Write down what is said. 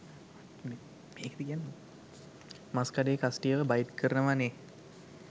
මස්කඩේ කස්ටියව බයිට් කරනව නේහ්